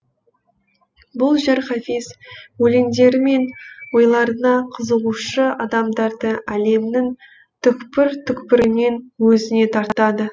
бұл жер хафиз өлеңдері мен ойларына қызығушы адамдарды әлемнің түкпір түкпірінен өзіне тартады